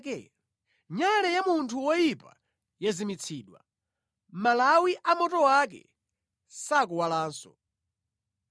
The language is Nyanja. “Nyale ya munthu woyipa yazimitsidwa; malawi a moto wake sakuwalanso.